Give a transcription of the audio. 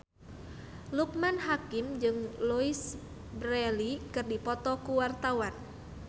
Loekman Hakim jeung Louise Brealey keur dipoto ku wartawan